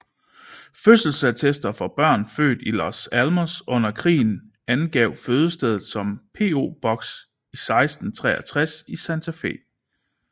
Fødselsattester for børn født i Los Alamos under krigen angav fødestedet som PO Box 1663 i Santa Fe